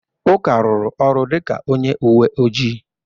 Uka rụrụ ọrụ dịka onye uwe ojii.